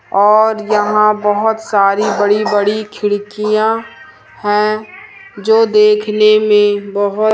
और यहां बहुत सारी बड़ी बड़ी खिड़कियां हैं जो देखने में बहुत--